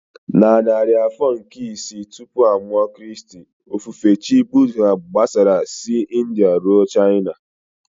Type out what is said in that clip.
Na narị afọ nke isii tupu a mụọ Kraịst, okpukpe Chi Buddha gbasara si India ruo China.